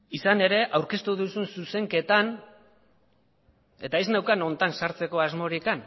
izan ere aurkeztu duzun zuzenketan eta ez neukan honetan sartzeko asmorik